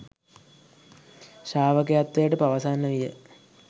ශ්‍රාවකත්වය පවසන්නට විය